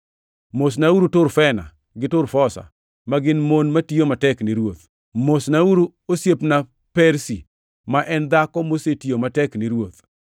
Mosnauru Turfena gi Turfosa, ma gin mon matiyo matek ni Ruoth. Mosnauru osiepna Persi ma en dhako mosetiyo matek ni Ruoth.